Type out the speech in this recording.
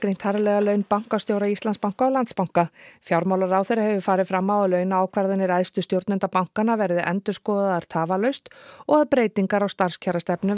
harðlega laun bankastjóra Íslandsbanka og Landsbanka fjármálaráðherra hefur farið fram á að launaákvarðanir æðstu stjórnenda bankanna verði endurskoðaðar tafarlaust og breytingar á starfskjarastefnu